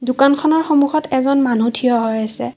দোকানখনৰ সন্মুখত এজন মানুহ থিয় হৈ আছে।